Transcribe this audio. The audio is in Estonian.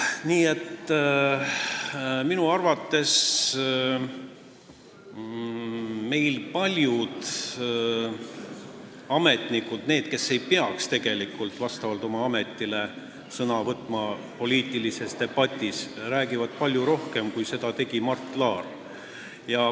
Nii et minu arvates räägivad meil paljud ametnikud – need, kes ei peaks tegelikult vastavalt oma ametile poliitilises debatis sõna võtma – palju rohkem, kui seda on teinud Mart Laar.